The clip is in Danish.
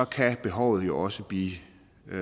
kan behovet jo også blive